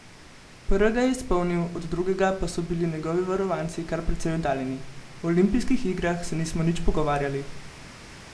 Prvega je izpolnil, od drugega pa so bili njegovi varovanci kar precej oddaljeni: "O olimpijskih igrah se nismo nič pogovarjali.